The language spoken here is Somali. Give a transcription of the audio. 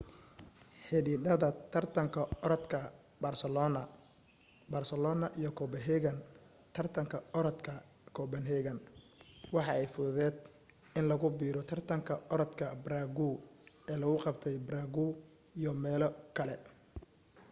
xididada tartanka oradka barcelona barcelona iyo copenhagen tartanka oradka copenhagen waa ay fududeet in lagu biro tartanka oradka prague ee lagu qabtay prague iyo meelo kale